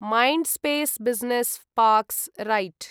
Mindspace business parks right